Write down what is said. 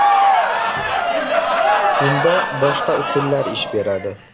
Bunda boshqa usullar ish beradi.